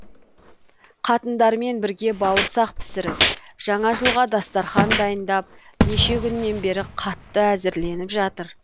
қатындармен бірге бауырсақ пісіріп жаңа жылға дастарқан дайындап неше күннен бері қатты әзірленіп жатыр